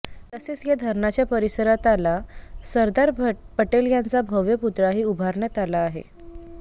तसेच या धरणाच्या परिसरात आला सरदार पटेल यांचा भव्य पुतळाही उभारण्यात आला आहे